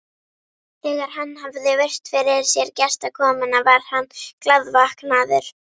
Þegar hann hafði virt fyrir sér gestakomuna var hann glaðvaknaður.